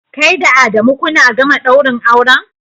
Kai da Adamu kuna gama daurin aure?